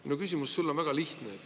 Minu küsimus sulle on väga lihtne.